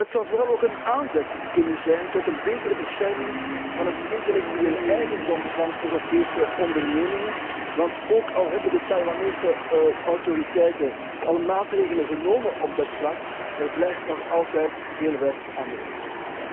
Het zou vooral ook een aanzet kunnen zijn tot een betere bescherming van de intellectuele eigendom van Europese ondernemingen, want ook al hebben de Taiwanese autoriteiten al maatregelen genomen op dat vlak, er blijft nog altijd veel werk aan de winkel.